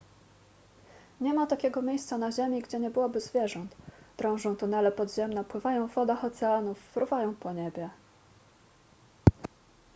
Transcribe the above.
nie ma takiego miejsca na ziemi gdzie nie byłoby zwierząt drążą tunele podziemne pływają w wodach oceanów fruwają po niebie